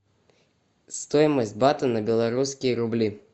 стоимость бата на белорусские рубли